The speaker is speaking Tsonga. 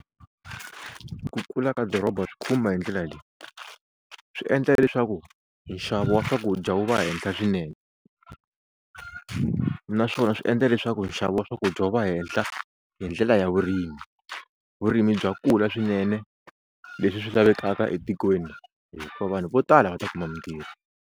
Ku kula ka doroba swi khumba hi ndlela leyi, swi endla leswaku nxavo wa swakudya wu va henhla swinene naswona swi endla leswaku nxavo wa swakudya wu va hehla hi ndlela ya vurimi, vurimi bya kula swinene leswi swi lavekaka etikweni hikuva vanhu vo tala va ta kuma mintirho.